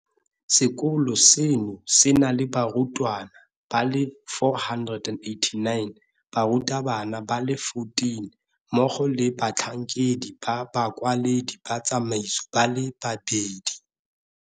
Sekolo seno se na le barutwana ba le 489, barutabana ba le 14, mmogo le batlhankedi ba bakwaledi ba tsamaiso ba le babedi.